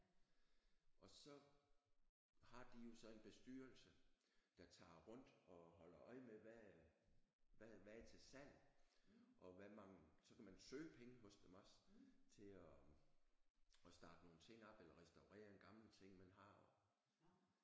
Og så har de jo så en bestyrelse der tager rundt og holder øje med hvad hvad hvad er til salg og hvad mangler så kan man søge penge hos dem også til at at starte nogle ting op eller restaurere en gammel ting man har og